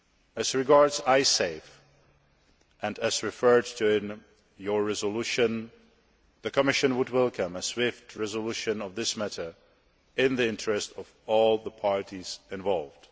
As regards Icesave, and as referred to in your resolution, the Commission would welcome a swift resolution of this matter in the interests of all the parties involved.